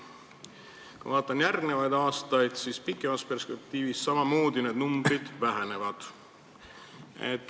Kui ma vaatan järgmisi aastaid, siis kaugemas perspektiivis samamoodi need numbrid vähenevad.